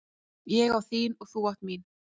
Ég á þín og þú átt mín.